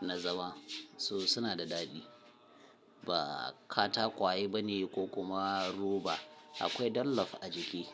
na zama so suna da daɗi ba katakwaye bane ko kuma roba akwai dallaf a jiki.